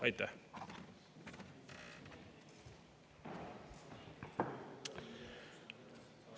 Aitäh!